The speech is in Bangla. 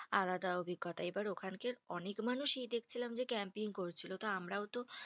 আলাদা অভিজ্ঞতা এবার ওখানকার অনেক মানুষই দেখছিলাম যে camping করছিলো। তো আমরাও তো